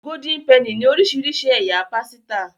Golden Penny ní orísirísi ẹyà pàsìta.